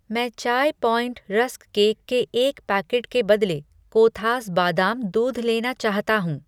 मैं Chai Point rusk cake के एक पैकेट के बदले कोथास बादाम दूध लेना चाहता हूँ।